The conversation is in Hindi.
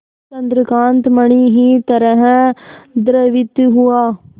चंद्रकांत मणि ही तरह द्रवित हुआ